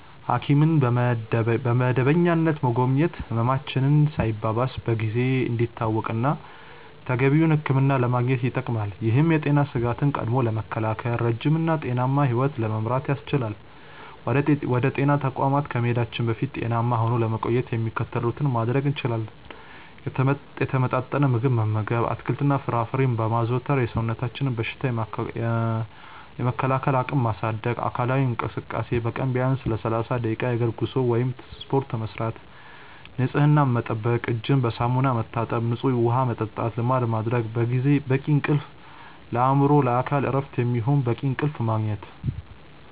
ሐኪምን በመደበኛነት መጎብኘት ህመማችን ሳይባባስ በጊዜ እንዲታወቅና ተገቢውን ሕክምና ለማግኘት ይጠቅማል። ይህም የጤና ስጋትን ቀድሞ በመከላከል ረጅም እና ጤናማ ሕይወት ለመምራት ያስችላል። ወደ ጤና ተቋማት ከመሄዳችን በፊት ጤናማ ሆኖ ለመቆየት የሚከተሉትን ማድረግ እንችላለን፦ የተመጣጠነ ምግብ መመገብ፦ አትክልትና ፍራፍሬን በማዘውተር የሰውነትን በሽታ የመከላከል አቅም ማሳደግ። አካላዊ እንቅስቃሴ፦ በቀን ቢያንስ ለ30 ደቂቃ የእግር ጉዞ ወይም ስፖርት መስራት። ንፅህናን መጠበቅ፦ እጅን በሳሙና መታጠብና ንፁህ ውሃ መጠጣትን ልማድ ማድረግ። በቂ እንቅልፍ፦ ለአእምሮና ለአካል እረፍት የሚሆን በቂ እንቅልፍ ማግኘት።